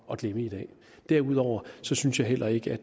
at glemme i dag derudover synes jeg heller ikke